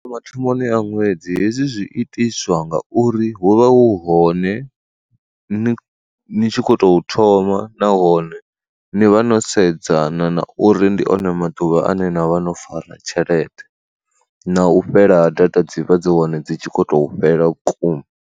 Mathomoni a ṅwedzi hezwi zwi itiswa ngauri hu vha hu hone ni ni tshi kho to thoma nahone ni vha no sedzana na uri ndi one maḓuvha ane na vha no fara tshelede, na u fhela data dzi vha dzi hone dzi tshi kho to fhela vhukuma.